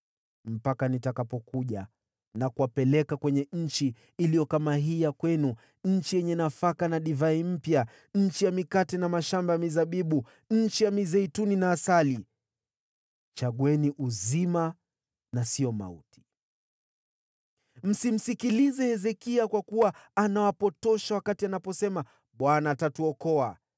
mpaka nije nikawapeleke katika nchi iliyo kama nchi yenu wenyewe, nchi ya nafaka na divai mpya, nchi ya mkate na mashamba ya mizabibu, nchi ya mizeituni na asali. Chagueni uzima, sio mauti! “Msimsikilize Hezekia, kwa kuwa anawapotosha asemapo, ‘ Bwana atatuokoa.’